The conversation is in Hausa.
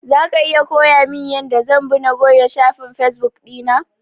Zaka iya koyamin yanda zan bi na goge shafin fesbuk ɗina?